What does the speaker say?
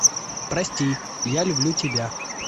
прости я люблю тебя